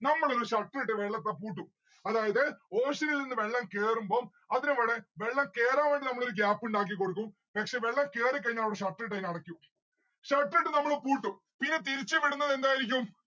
നമ്മള് ഒരു shutter ഇട്ട് വെള്ളൊക്കെ പൂട്ടും. അതായത് ocean ഇൽനിന്നും വെള്ളം കേറുമ്പം അതിനവിടെ വെള്ളം കേറാൻ വേണ്ടി നമ്മളൊരു gap ഇണ്ടാക്കി കൊടുക്കും പക്ഷെ വെള്ളം കേറിക്കഴിഞ്ഞാൽ shutter ഇട്ട് അയ്ന അടക്കും. shutter ഇട്ട് നമ്മള് പൂട്ടും. പിന്നെ തിരിച്ച് വിടുന്നത് എന്തായിരിക്കും